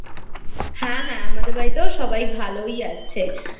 হ্যাঁ হ্যাঁ আমাদের বাড়িতেও সবাই ভালোই আছেI